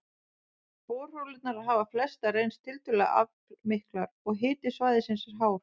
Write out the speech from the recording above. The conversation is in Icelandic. Borholurnar hafa flestar reynst tiltölulega aflmiklar, og hiti svæðisins er hár.